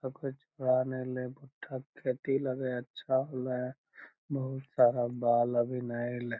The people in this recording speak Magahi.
कोय छोड़ा नेय एले भुट्टा के खेती लगे हेय अच्छा होले हेय बहुत सारा बाल अभी ने एले।